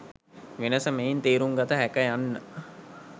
වෙනස මෙයින් තේරුම් ගත හැක යන්න